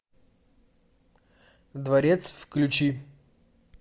дворец включи